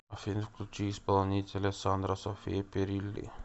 афина включи исполнителя сандра софия перилли